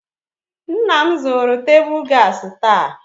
Nna m zụrụ tebụl gaasị taa.